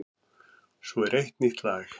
Svo er eitt nýtt lag.